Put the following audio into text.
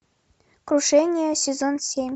крушение сезон семь